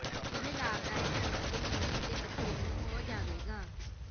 ਇਹ ਲਾਭਦਾਇਕ ਹੈ ਅਤੇ ਮੰਮੀ ਅਤੇ ਬੱਚੇ ਨੂੰ ਹੋ ਜਾਵੇਗਾ